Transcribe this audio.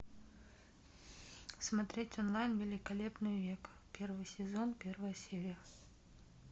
смотреть онлайн великолепный век первый сезон первая серия